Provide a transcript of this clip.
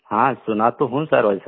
हाँ सुना तो हूँ सर वैसा